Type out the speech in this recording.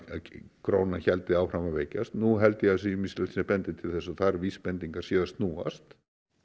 krónan héldi áfram að veikjast nú held ég að það sé ýmislegt sem bendir til þess að þær vísbendingar séu að snúast